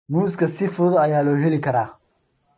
Muuska si fudud ayaa loo heli karaa.